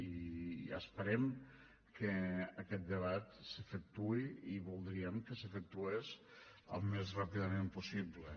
i esperem que aquest debat s’efectuï i voldríem que s’efectués al més ràpidament possible